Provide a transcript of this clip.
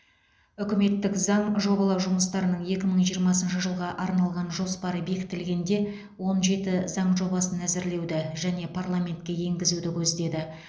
үкіметтің заң жобалау жұмыстарының екі мың жиырмасыншы жылға арналған жоспары бекітілгенде он жеті заң жобасын әзірлеуді және парламентке енгізуді көздеді